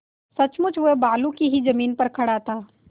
सचमुच वह बालू की ही जमीन पर खड़ा था